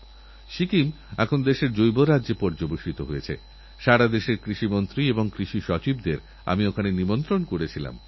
আমাকে বলা হয়েছে যে মহারাষ্ট্র সরকার পয়লা জুলাই সমগ্র রাজ্যেরপ্রায় ২ কোটি ২৫ লক্ষ গাছের চারা লাগিয়েছে আর আগামী বছর ওরা তিন কোটি চারালাগানোর লক্ষ্যমাত্রা ধার্য করেছে